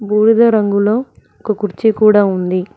బూడిద రంగులో ఒక కుర్చీ కూడా ఉంది.